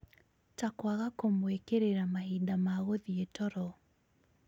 ta kwaga kũmũĩkĩrĩra mahinda ma gũthie toro